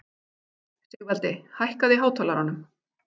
Sigvaldi, hækkaðu í hátalaranum.